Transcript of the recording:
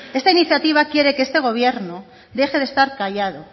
esta iniciativa quiere que este gobierno deje de estar callado